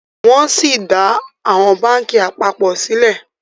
wón sí dá àwọn bánkì apapọ sílè